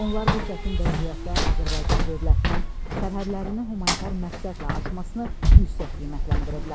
Onlar bu çətin vəziyyətdə Azərbaycan dövlətinin sərhədlərini humanitar məqsədlə açmasını yüksək qiymətləndiriblər.